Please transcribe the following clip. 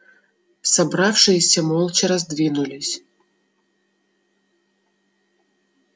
собравшиеся молча раздвинулись